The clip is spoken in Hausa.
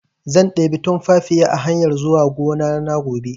Zan ɗebi tunfafiya a hanyar zuwa gonana gobe